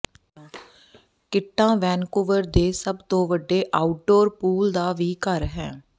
ਕਿੱਟਾਂ ਵੈਨਕੂਵਰ ਦੇ ਸਭ ਤੋਂ ਵੱਡੇ ਆਊਟਡੋਰ ਪੂਲ ਦਾ ਵੀ ਘਰ ਹੈ